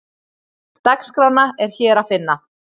Dagskrána er hér að finna